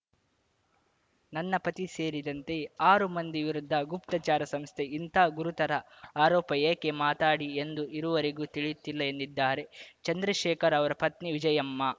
ನನ್ನ ಪತಿ ಸೇರಿದಂತೆ ಆರು ಮಂದಿ ವಿರುದ್ಧ ಗುಪ್ತಚಾರ ಸಂಸ್ಥೆ ಇಂಥ ಗುರುತರ ಆರೋಪ ಏಕೆ ಮಾತಾಡಿ ಎಂದು ಇರುವರೆಗೂ ತಿಳಿಯುತ್ತಿಲ್ಲ ಎಂದಿದ್ದಾರೆ ಚಂದ್ರಶೇಖರ್‌ ಅವರ ಪತ್ನಿ ವಿಜಯಮ್ಮ